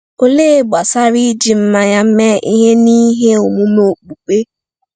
Olee gbasara iji mmanya mee ihe n’ihe omume okpukpe?